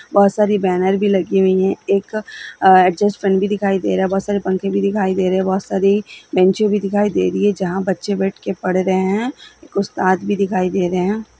बहुत सारी बैनर भी लगी हुई है एक अ एडजस्टफैन भी दिखाई दे रहा है बहुत सारे पंखे भी दिखाई दे रहे है बहुत सारी बैंचे भी दिखाई दे रही है जहां बच्चे बैठ के पढ़ रहे हैं कुछ आदमी दिखाई दे रहे हैं।